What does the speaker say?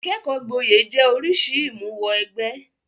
Ìkẹ́kọ̀ọ́ gboyè jẹ́ oríṣìí ìmúwọ-ẹgbẹ́.